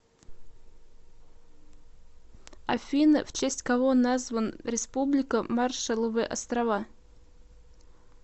афина в честь кого назван республика маршалловы острова